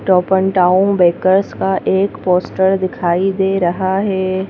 टोप n town bakers का एक पोस्टर दिखाई दे रहा है।